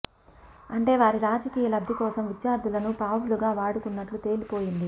అంటే వారి రాజకీయ లబ్ది కోసం విద్యార్థులను పావులుగా వాడుకున్నట్లు తేలిపోయింది